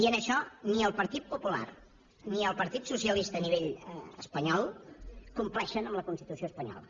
i en això ni el partit popular ni el partit socialista a nivell espanyol compleixen la constitució espanyola